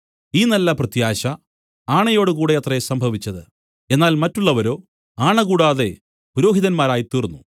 ഈ നല്ല പ്രത്യാശ ആണയോടുകൂടെ അത്രേ സംഭവിച്ചത് എന്നാൽ മറ്റുള്ളവരോ ആണ കൂടാതെ പുരോഹിതന്മാരായിത്തീർന്നു